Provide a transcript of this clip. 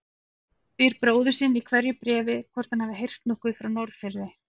Spyr bróður sinn í hverju bréfi hvort hann hafi heyrt nokkuð frá Norðfirði.